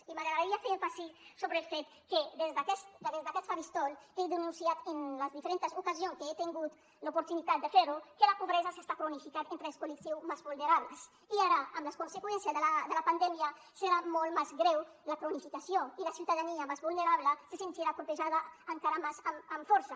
i m’agradaria fer èmfasi sobre el fet que des d’aquest faristol he denunciat en les diferentes ocasions que he tingut l’oportunitat de fer ho que la pobresa s’està cronificant entre els col·lectius més vulnerables i ara amb les conseqüències de la pandèmia serà molt més greu la cronificació i la ciutadania més vulnerable se sentirà colpejada encara més amb força